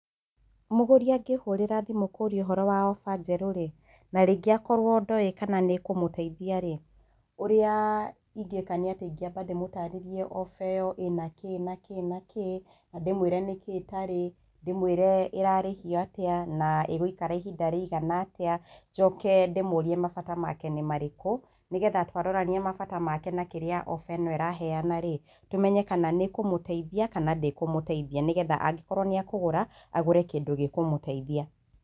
Mũgũri angĩhũrĩra thimũ kũria ũhoro wa oba njeru rĩ, na rĩngĩ akorwo ndoĩ kana nĩ ĩkũmũteithiarĩ, ũrĩa ingĩka nĩ atĩ ingĩamba mdĩmũtarĩrie oba ĩyo ĩnakĩĩ na kĩĩ na kĩĩ na ndĩmwĩre nĩkĩĩ ĩtarĩ na ndĩmwĩre ĩrarĩhia atĩa na ĩgũikara ihinda rĩigana atĩa njoke ndĩmũrie mabata make nĩ marĩkũ, nĩgetha twarorania mabata make na kĩrĩa oba ĩno ĩraheanarĩ, tũmenye kana nĩ ĩkũmũteithia kana ndĩkũmũteithia. Nĩgetha angĩkorwo nĩ ekũgũra, agũre kĩndũ gĩkũmũteithia.